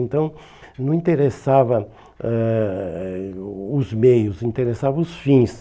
Então não interessavam eh o os meios, interessavam os fins.